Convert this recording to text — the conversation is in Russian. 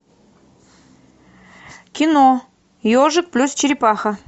кино ежик плюс черепаха